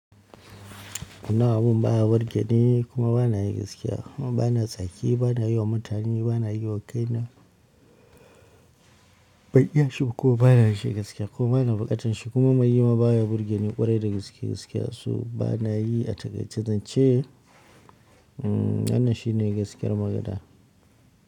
Kuma abun baya birgeni kuma ba na yi gaskiya kuma ba na tsaki, ba na yi wa mutane, ba na yi wa kaina ban iyashi kuma ba na yinshi gaskiya kuma bana yinshi gaskiya kuma bana buƙatan shi kuma mai yi ma baya birgeni ƙwarai da gaske gaskiya so ba na yi a taƙaice zan ce, wannan shi ne gaskiyar magana.